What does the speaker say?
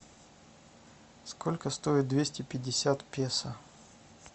сколько стоит двести пятьдесят песо